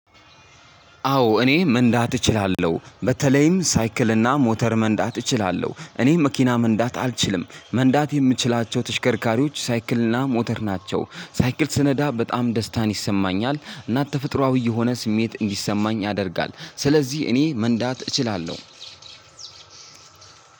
አዎ እኔ መንዳት እችላለሁ። በተለይም ሳይክል እና ሞተር መንዳት እችላለሁ። እኔ መኪና መንዳት አልችልም። መንዳት የምንችላቸው ተሽከርካሪዎች ሳይክል እና ሞተር ናቸው። ሳይክል ስነዳ በጣም ደስታ ይሰማኛል። እና ተፈጥሯዊ ስሜት እንዲሰማኝ ያደርጋል። ስለዚህ እኔ መንዳት እችላለሁ።